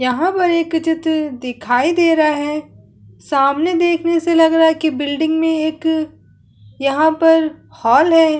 यहाँ पर एक चित्र दिखाई दे रहा है सामने देखने से लग रहा है कि बिल्डिंग में एक यहाँ पर हॉल है।